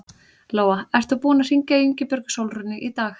Lóa: Ert þú búinn að hringja í Ingibjörgu Sólrúnu í dag?